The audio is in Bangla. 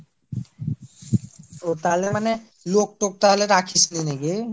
ও তাহলে মানে লোক টোক মানে রাখিসনি নাকি ?